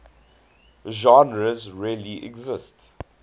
genres really exist